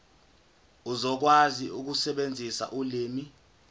uzokwazi ukusebenzisa ulimi